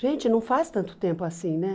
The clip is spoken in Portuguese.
Gente, não faz tanto tempo assim, né?